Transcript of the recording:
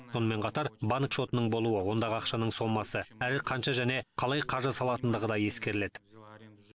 сонымен қатар банк шотының болуы ондағы ақшаның сомасы әрі қанша және қалай қаржы салынатындығы да ескеріледі